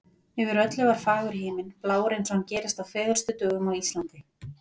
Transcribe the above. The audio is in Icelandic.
Yfir öllu var fagur himinn, blár eins og hann gerist á fegurstu dögum á Íslandi.